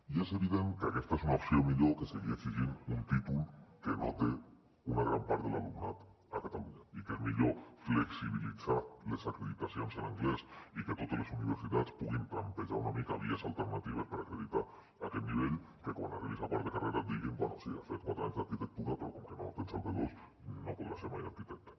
i és evident que aquesta és una opció millor que seguir exigint un títol que no té una gran part de l’alumnat a catalunya i que és millor flexibilitzar les acreditacions en anglès i que totes les universitats puguin trampejar una mica vies alternatives per acreditar aquest nivell que quan arribis a quart de carrera et diguin bé sí has fet quatre anys d’arquitectura però com que no tens el b2 no podràs ser mai arquitecte